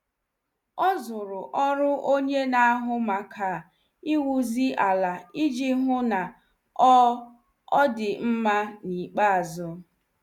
Ọ zuru ọrụ onye na- ahụ maka iwuzi ala iji hụ na ọ ọ dị mma n' ikpeazụ.